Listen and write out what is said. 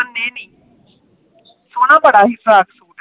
ਮੰਨੇ ਨੀ ਪਰ ਸੋਹਣਾ ਬੜਾ ਸੀ ਫਰਾਕ ਸੂਟ